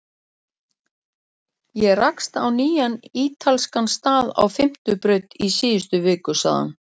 Ég rakst á nýjan ítalskan stað á Fimmtu braut í síðustu viku sagði hann.